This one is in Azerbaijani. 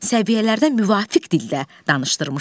Səviyyələrdə müvafiq dildə danışdırmışdı.